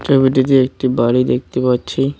ছবিটিতে একটি বাড়ি দেখতে পাচ্ছি।